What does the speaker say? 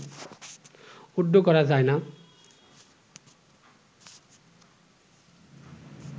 withdraw করা যায় না